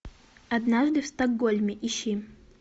однажды в стокгольме ищи